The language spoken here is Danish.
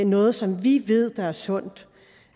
noget som vi ved der er sundt